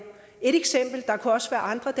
et eksempel og der kunne også være andre